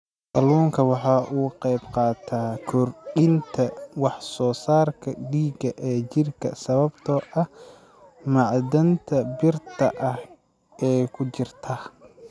Kalluunku waxa uu ka qaybqaataa kordhinta wax soo saarka dhiigga ee jidhka sababtoo ah macdanta birta ah ee ku jirta.